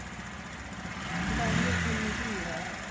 ਤਾਹੀਂ ਉੱਥੇ ਇੰਨੀ ਭੀੜ ਹੈ